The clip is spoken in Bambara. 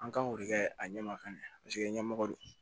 An kan k'o de kɛ a ɲɛma ka ɲɛ paseke ɲɛmɔgɔ don